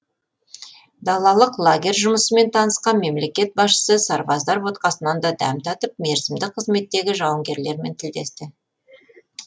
далалық лагерь жұмысымен танысқан мемлекет басшысы сарбаздар ботқасынан да дәм татып мерзімді қызметтегі жауынгерлермен тілдесті